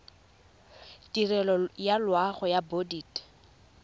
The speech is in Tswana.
tirelo ya loago ya bodit